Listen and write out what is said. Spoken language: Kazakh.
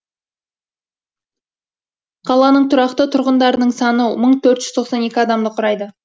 қаланың тұрақты тұрғындарының саны мың төрт жүз тоқсан екі адамды құрайды